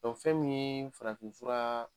fɛn min ye farafinfura